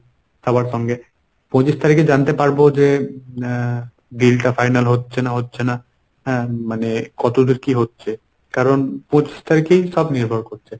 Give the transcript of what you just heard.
সবার সঙ্গে। পঁচিশ তারিখে জানতে পারবো যে এর deal টা final হচ্ছে না হচ্ছে না। হ্যাঁ মানে কতদূর কী হচ্ছে ? কারণ পঁচিশ তারিখেই সব নির্ভর করছে।